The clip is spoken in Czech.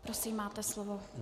Prosím, máte slovo.